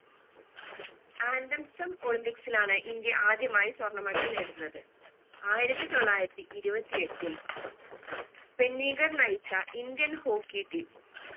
olympics ലാണ് India ആദ്യമായ് സ്വർണ medal നേടുന്നത് ആയിരത്തി തൊള്ളായിരത്തി ഇരുപത്തി എട്ടിൽ ഫെന്നിഗർ നയിച്ച indian hockey team